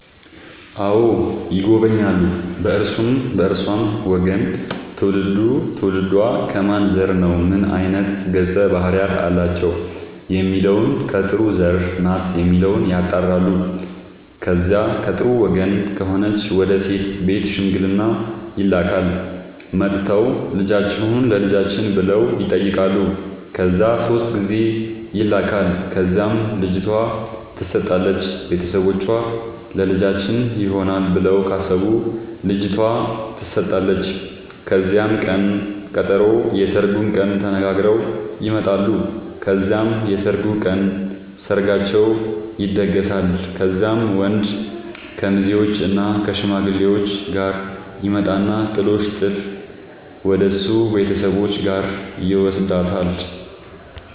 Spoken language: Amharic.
አዎ ይጎበኛሉ በእርሱም በእርሷም ወገን ትውልዱ ትውልዷ ከማን ዘር ነው ምን አይነት ገፀ ባህርያት አላቸው የሚለውን ከጥሩ ዘር ናት የሚለውን ያጣራሉ። ከዚያ ከጥሩ ወገን ከሆነች ወደ ሴት ቤት ሽምግልና ይላካል። መጥተው ልጃችሁን ለልጃችን ብለው ይጠያቃሉ ከዚያ ሶስት ጊዜ ይላካል ከዚያም ልጅቷ ትሰጣለች ቤተሰቦቿ ለልጃችን ይሆናል ብለው ካሰቡ ልጇቷ ተሰጣለች ከዚያም ቅን ቀጠሮ የስርጉን ቀን ተነጋግረው ይመጣሉ ከዚያም የሰርጉ ቀን ሰርጋቸው ይደገሳል። ከዚያም ወንድ ከሙዜዎችእና ከሽማግሌዎቹ ጋር ይመጣና ጥሎሽ ጥል ወደሱ ቤተሰቦች ጋር ይውስዳታል።